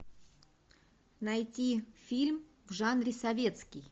найти фильм в жанре советский